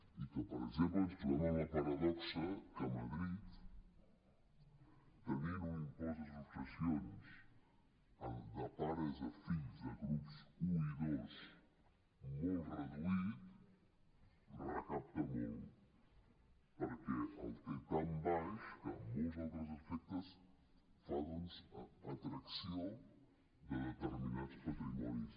i que per exemple ens trobem amb la paradoxa que a madrid tenint un impost de successions de pares a fills de grups un i dos molts reduït recapta molt perquè el té tan baix que en molts altres aspectes fa doncs atracció de determinats patrimonis